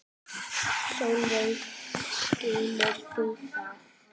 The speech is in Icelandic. Sólveig: Skilur þú það?